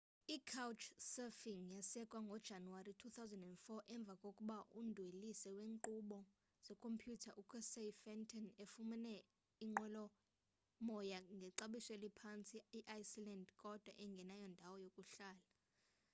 icouchsurfing yasekwa ngojanuwari 2004 emva kokuba umdwelisi weenkqubo zekhompyutha ucasey fenton efumene inqwelomoya ngexabiso eliphantsi eiceland kodwa engenayo indawo yokuhlala